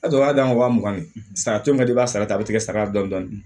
A dɔw b'a d'an wa mugan ni saba caman ka di i b'a sara a bɛ tigɛ saga dɔɔni